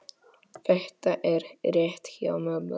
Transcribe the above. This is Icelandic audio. Þetta er rétt hjá mömmu.